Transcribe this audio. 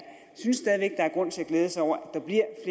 synes at der er grund til at glæde sig over